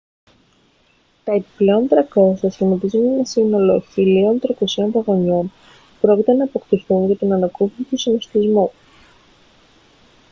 τα επιπλέον 300 σχηματίζουν ένα σύνολο 1.300 βαγονιών που πρόκειται να αποκτηθούν για την ανακούφιση του συνωστισμού